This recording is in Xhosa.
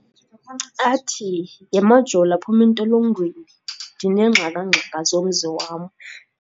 Athi yhe MaJola phuma entolongweni, ndineengxakangxaka zomzi wam.